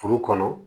Furu kɔnɔ